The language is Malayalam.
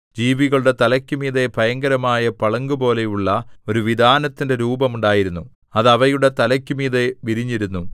ജീവികളുടെ തലയ്ക്കുമീതെ ഭയങ്കരമായ പളുങ്കുപോലെയുള്ള ഒരു വിതാനത്തിന്റെ രൂപം ഉണ്ടായിരുന്നു അത് അവയുടെ തലയ്ക്കുമീതെ വിരിഞ്ഞിരുന്നു